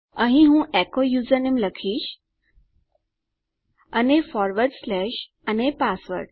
અહીં હું એચો યુઝરનેમ લખીશ અને ફોરવર્ડ સ્લેશ અને પાસવર્ડ